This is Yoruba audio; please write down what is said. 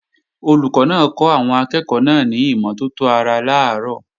Olùkọ́ náà kọ́ àwọn akẹ́ẹ̀kọ́ náà ní ìmọ́tótó ara làárọ̀